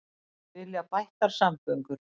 Vilja bættar samgöngur